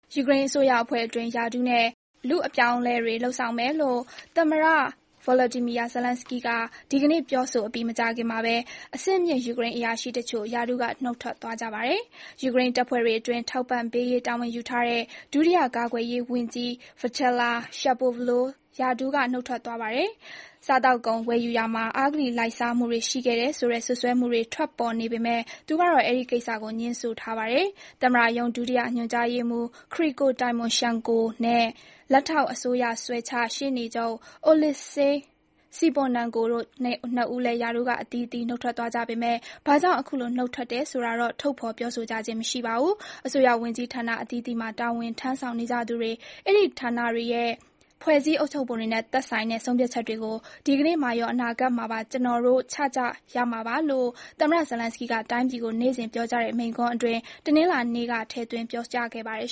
ယူကရိန်းအစိုးရအဖွဲ့အတွင်း ရာထူးနဲ့ လူအပြောင်းအလဲတွေ လုပ်ဆောင်မယ်လို့ သမ္မတဗလော်ဒီမီယာဇလန်းစကီးက ဒီကနေ့ ပြောဆိုအပြီး မကြာခင်မှာဘဲ အဆင့်မြင့် ယူကရိန်းအရာရှိတချို့ ရာထူးက နှုတ်ထွက်သွားကြပါတယ်။ ယူကရိန်းတပ်ဖွဲ့တွေအတွက် ထောက်ပံ့ပေးရေး တာဝန်ယူထားတဲ့ ဒုတိယကာကွယ်ရေးကြီး Viacheslav Shapovalov ရာထူးက နှုတ်ထွက်သွားပါတယ်။ စားသောက်ကုန် ဝယ်ယူရာမှာ အဂတိလိုက်စားမှုတွေ ရှိခဲ့တယ်ဆိုတဲ့ စွပ်စွဲမှုတွေထွက်ပေါ်နေပေမယ့် သူကတော့ အဲဒီကိစ္စကို ငြင်းဆိုထားပါတယ်။ သမ္မတရုံး ဒုတိယ ညွှန်ကြားရေးမှူး Kyrylo Tymoshenko နဲ့ လက်ထောက် အစိုးရစွဲချ ရှေ့နေချုပ် Oleksiy Symonenko တို့ ၂ ဦးလည်း ရာထူးက အသီးသီး နှုတ်ထွက်သွားကြပေမယ့် ဘာကြောင့် အခုလို နှုတ်ထွက်တယ်ဆိုတာတော့ ထုတ်ဖော် ပြောဆိုကြခြင်း မရှိပါဘူး။ အစိုးရဝန်ကြီးဌာနအသီးသီးမှာ တာဝန်ထမ်းဆောင်ကြတဲ့သူတွေ၊ အဲဒီဌာနတွေရဲ့ ဖွဲ့စည်း အုပ်ချုပ်ပုံတွေနဲ့သက်ဆိုင်တဲ့ ဆုံးဖြတ်ချက်တွေကို ဒီကနေ့မှာရော အနာဂတ်မှာပါ ကျနော်တို့ ချကြရမှာပါလို့ သမ္မတဇလန်းစကီးက တိုင်းပြည်ကို နေ့စဉ် ပြောကြားတဲ့ မိန့်ခွန်းအတွင်း တနင်္လာနေ့က ထည့်သွင်း ပြောကြားခဲ့ပါတယ်